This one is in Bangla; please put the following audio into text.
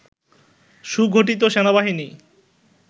সুগঠিত সেনাবাহিনী